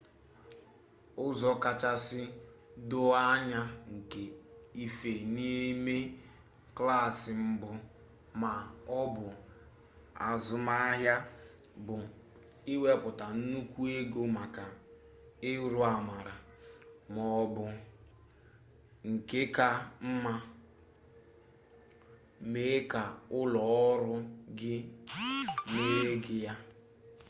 ụzọ kachasị doo anya nke ife n’ime klaasị mbụ ma ọ bụ azụmahịa bụ iwepụta nnukwu ego maka urūàmàrà ma ọ bụ nke ka mma mee ka ụlọ ọrụ gị mere gị ya